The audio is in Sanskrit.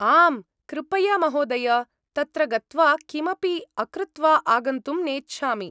आम् कृपया महोदय, तत्र गत्वा किमपि अकृत्वा आगन्तुं नेच्छामि।